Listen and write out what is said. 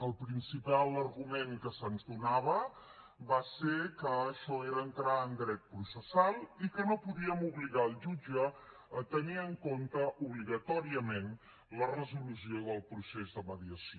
el principal argument que se’ns donava va ser que això era entrar en dret processal i que no podíem obligar el jutge a tenir en compte obligatòriament la resolució del procés de mediació